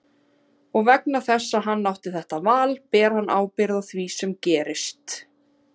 Og vegna þess að hann átti þetta val ber hann ábyrgð á því sem gerist.